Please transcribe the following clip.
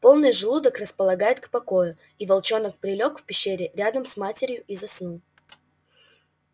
полный желудок располагает к покою и волчонок прилёг в пещере рядом с матерью и заснул